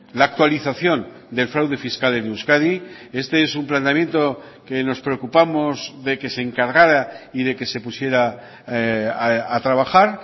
la actualización del fraude fiscal en euskadi este es un planteamiento que nos preocupamos de que se encargara y de que se pusiera a trabajar